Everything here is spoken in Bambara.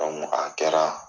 a kɛra